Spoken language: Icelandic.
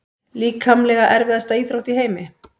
Líkamlega erfiðasta íþrótt í heimi?